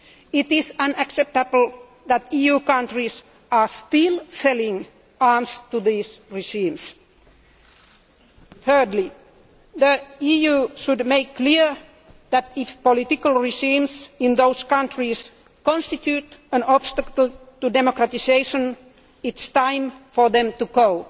It is unacceptable that EU countries are still selling arms to these regimes. Thirdly, the EU should make clear that, if political regimes in those countries constitute an obstacle to democratisation, it is time for them to